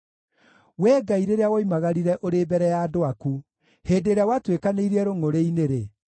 Wee Ngai rĩrĩa woimagarire ũrĩ mbere ya andũ aku, hĩndĩ ĩrĩa watuĩkanĩirie rũngʼũrĩ-inĩ-rĩ,